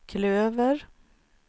klöver